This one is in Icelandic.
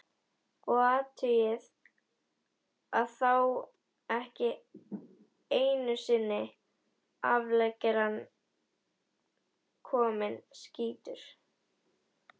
Og athugið að þá var ekki einusinni afleggjarinn kominn, skýtur